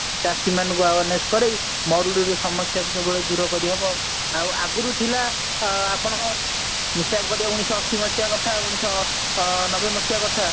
ଚାଷୀ ମାନଙ୍କୁ awareness କରେଇ ମରୁଡ଼ିର ସମସ୍ଯା କୁ କିଭଳି ଦୂର କରି ହେବ ଆଉ ଆଗୁରୁ ଥିଲା ଆ ଆପଣ ହିସାବ କରିବେ ଉଣେଇଶହଅଶି ମସିହା କଥା ଆଉ ଅ ଉଣେଇଶହନବେ ମସିହା କଥା